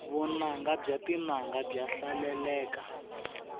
vunanga bya tinanga bya hlaleleka